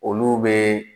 Olu bɛ